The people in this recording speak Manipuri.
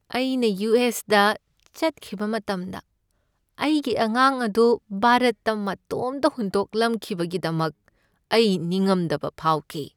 ꯑꯩꯅ ꯌꯨ. ꯑꯦꯁ. ꯗ ꯆꯠꯈꯤꯕ ꯃꯇꯝꯗ ꯑꯩꯒꯤ ꯑꯉꯥꯡ ꯑꯗꯨ ꯚꯥꯔꯠꯇ ꯃꯇꯣꯝꯇ ꯍꯨꯟꯗꯣꯛꯂꯝꯈꯤꯕꯒꯤꯗꯃꯛ ꯑꯩ ꯅꯤꯡꯉꯝꯗꯕ ꯐꯥꯎꯈꯤ ꯫